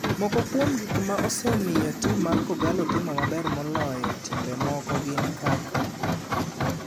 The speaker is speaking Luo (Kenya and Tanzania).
Moko kuom gik ma osemiyo tim mar kogallo timo maber moloyo timbe moko gin kaka;